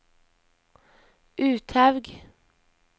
Uthaug